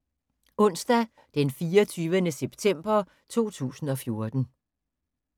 Onsdag d. 24. september 2014